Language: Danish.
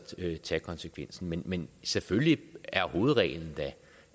tage konsekvensen men selvfølgelig er hovedreglen da